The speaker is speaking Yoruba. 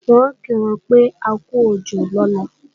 Wọ́n ò kí wọn pé akú òjò lọ́la